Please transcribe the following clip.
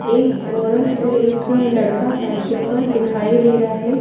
एक औरत और एक लड़का साइकिल पर दिखाई दे रहा है।